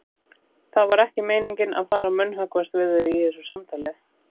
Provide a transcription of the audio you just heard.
Það var ekki meiningin að fara að munnhöggvast við þig í þessu samtali.